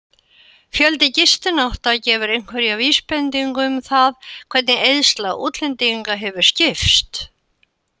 Fjöldi gistinátta gefur einhverja vísbendingu um það hvernig eyðsla útlendinga hefur skipst.